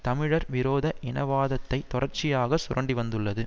தமிழர் விரோத இனவாதத்தை தொடர்ச்சியாக சுரண்டிவந்துள்ளது